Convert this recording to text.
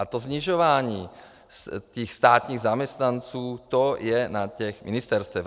A to snižování těch státních zaměstnanců, to je na těch ministerstvech.